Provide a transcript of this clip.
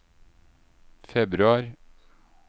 februar